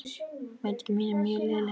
Mæting mín er mjög léleg.